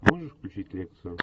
можешь включить лекцию